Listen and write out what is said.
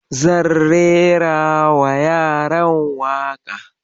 Zan rerawa yaran waƙa.